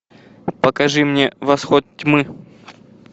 покажи мне восход тьмы